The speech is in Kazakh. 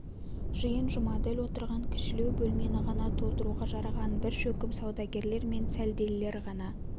жиын жұмаділ отырған кішілеу бөлмені ғана толтыруға жараған бір шөкім саудагерлер мен сәлделілер ғана